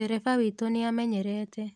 Dereba witũ nĩamenyerete.